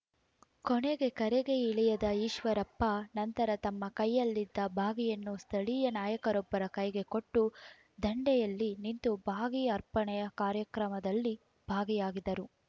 ಕೊನೆಗೆ ಕೆರೆಗೆ ಇಳಿಯದ ಈಶ್ವರಪ್ಪ ನಂತರ ತಮ್ಮ ಕೈಯಲ್ಲಿದ್ದ ಬಾಗಿಯನ್ನು ಸ್ಥಳೀಯ ನಾಯಕರೊಬ್ಬರ ಕೈಗೆ ಕೊಟ್ಟು ದಂಡೆಯಲ್ಲಿ ನಿಂತು ಬಾಗಿಯ ಅರ್ಪಣೆ ಕಾರ್ಯಕ್ರಮದಲ್ಲಿ ಭಾಗಿಯಾಗಿದರು